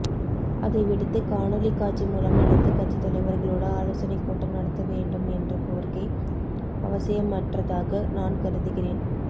அதைவிடுத்து காணொலிக் காட்சி மூலம் அனைத்துக் கட்சி தலைவா்களோடு ஆலோசனைக் கூட்டம் நடத்தவேண்டும் என்ற கோரிக்கை அவசியமற்ாக நான் கருதுகிறேன்